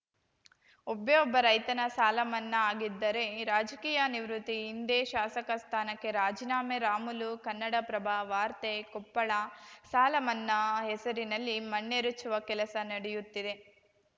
ಒಬ್ಬೇ ಒಬ್ಬ ರೈತನ ಸಾಲ ಮನ್ನಾ ಆಗಿದ್ದರೆ ರಾಜಕೀಯ ನಿವೃತ್ತಿ ಇಂದೇ ಶಾಸಕ ಸ್ಥಾನಕ್ಕೆ ರಾಜೀನಾಮೆ ರಾಮುಲು ಕನ್ನಡಪ್ರಭ ವಾರ್ತೆ ಕೊಪ್ಪಳ ಸಾಲ ಮನ್ನಾ ಹೆಸರಿನಲ್ಲಿ ಮಣ್ಣೆರಚುವ ಕೆಲಸ ನಡೆಯುತ್ತಿದೆ